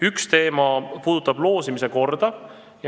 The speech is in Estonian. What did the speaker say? Üks neist puudutab loosimise korda.